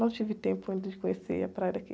Não tive tempo ainda de conhecer a praia daqui.